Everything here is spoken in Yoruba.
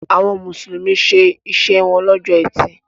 Àwọn Mùsùlùmí ṣe iṣẹ́ wọn lọ́jọ́ Ẹtì.